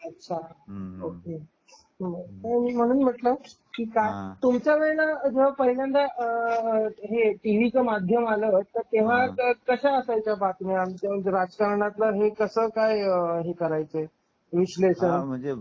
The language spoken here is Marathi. अच्छा ओके मग म्हणून म्हंटल तुमच्या वेळेला जेंव्हा पहिल्यांदा टीव्हीच माध्यम आलं असेल ते कश्या असायच्या बातम्या किंवा राजकारणाचं कस काय हे करायचे विश्लेषण?